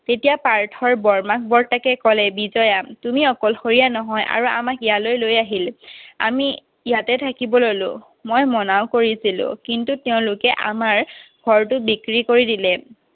তেতিয়া পাৰ্থ বৰমাক বৰ্তাকে ক'লে বিজয়া তুলি অকলশৰীয়া নহয় আৰু আমাক ইয়ালৈ লৈ আহিলে আমি ইয়াতে থাকিব ললো মই মনাও কৰিছিলো কিন্তু তেওঁলোকে আমাৰ ঘৰতো বিক্ৰী কৰি দিলে